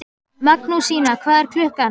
Magnúsína, hvað er klukkan?